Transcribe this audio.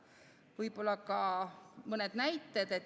Võib-olla ka mõned näited.